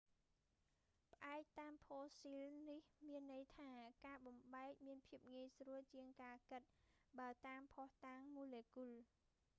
ផ្អែកតាមផូស៊ីលនេះ មានន័យថា ការបំបែកមានភាពងាយស្រួលជាងការគិត បើតាមភស្តុតាងម៉ូលេគុល